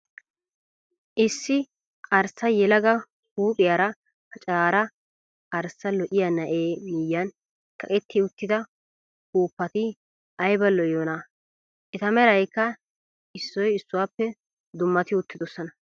Issi arssa yelaga huuphphiyaara pacaraara arssa lo'iyaa na''ee miyyiyaan kaqetti uttida upuuppati ayiba lo'iyoonaa! Eta merayikka isso issuwaape dammati uttidoosona.